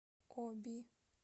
оби